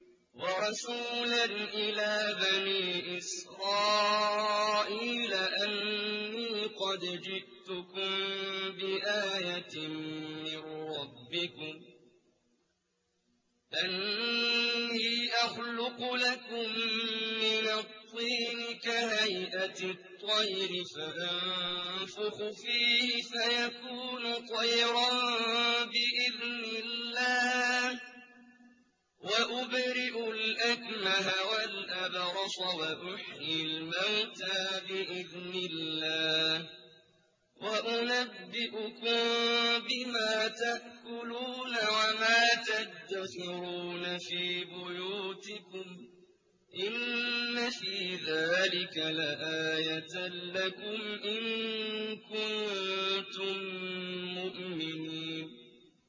وَرَسُولًا إِلَىٰ بَنِي إِسْرَائِيلَ أَنِّي قَدْ جِئْتُكُم بِآيَةٍ مِّن رَّبِّكُمْ ۖ أَنِّي أَخْلُقُ لَكُم مِّنَ الطِّينِ كَهَيْئَةِ الطَّيْرِ فَأَنفُخُ فِيهِ فَيَكُونُ طَيْرًا بِإِذْنِ اللَّهِ ۖ وَأُبْرِئُ الْأَكْمَهَ وَالْأَبْرَصَ وَأُحْيِي الْمَوْتَىٰ بِإِذْنِ اللَّهِ ۖ وَأُنَبِّئُكُم بِمَا تَأْكُلُونَ وَمَا تَدَّخِرُونَ فِي بُيُوتِكُمْ ۚ إِنَّ فِي ذَٰلِكَ لَآيَةً لَّكُمْ إِن كُنتُم مُّؤْمِنِينَ